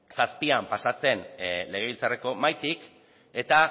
zazpian pasa zen legebiltzarreko mahaitik eta